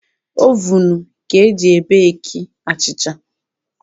Ovunu ka e ji ebeeki achịcha.